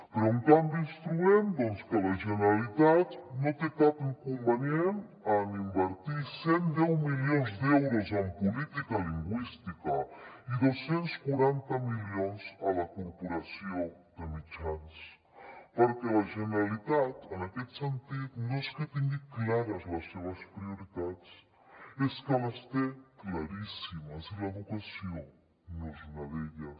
però en canvi ens trobem doncs que la generalitat no té cap inconvenient en invertir cien y diez milions d’euros en política lingüística i doscientos y cuarenta milions a la corporació de mitjans perquè la generalitat en aquest sentit no és que tingui clares les seves prioritats és que les té claríssimes i l’educació no és una d’elles